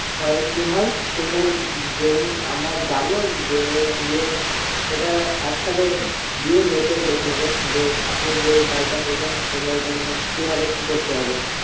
তাহলে কি হয় যেগুলো আমরা যাবো গিয়ে একসাথে দিয়ে মেপে দেখে নিবো যে, আপনি যে বাড়িটা করবেন মানে সে বাড়িটা কিভাবে কি করতে হবে